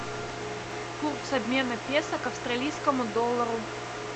курс обмена песо к австралийскому доллару